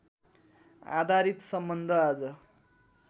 आधारित सम्बन्ध आज